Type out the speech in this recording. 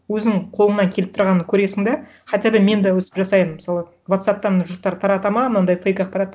өзің қолыңнан келіп тұрғанын көресің де хотя да мен де өстіп жасаймын мысалы вотсапптан жұрттар таратады ма мынандай фейк ақпаратты